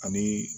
Ani